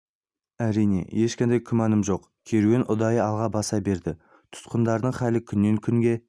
әрине ешқандай күмәні жоқ керуен ұдайы алға баса берді тұтқындағылардың халі күннен күнге